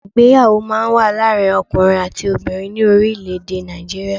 Ìgbéyàwó máa n wá láàrin ọkùnrin àti obìnrin ní orílẹ̀ èdè Nàìjíríà